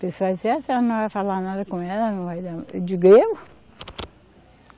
Pessoal dizia, ah, a senhora não vai falar nada com ela, não vai dar. Eu digo eu?